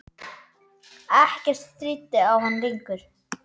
Ekkert stríddi á hann lengur.